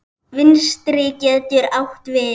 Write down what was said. Vinstri getur átt við